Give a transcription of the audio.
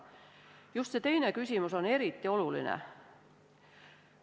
Just see teine küsimus on eriti oluline.